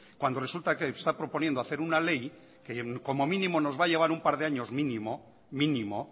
cuando resulta que esta proponiendo hacer una ley que como mínimo nos va a llevar un par de años mínimo mínimo